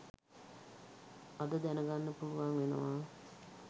අද දැනගන්න පුලුවන් වෙනවා